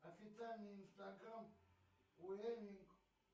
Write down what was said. официальный инстаграм уэнни